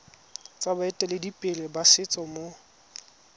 tsa baeteledipele ba setso mo